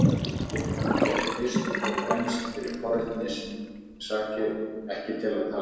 Ég kom hér fyrst og fremst fyrir forvitni sakir, ekki til að tala.